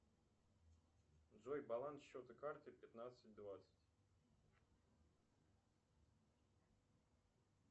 джой баланс счета карты пятнадцать двадцать